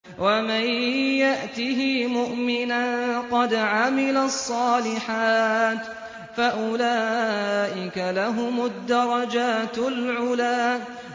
وَمَن يَأْتِهِ مُؤْمِنًا قَدْ عَمِلَ الصَّالِحَاتِ فَأُولَٰئِكَ لَهُمُ الدَّرَجَاتُ الْعُلَىٰ